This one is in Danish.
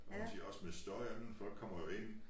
Og hun siger også med støjen folk kommer jo ind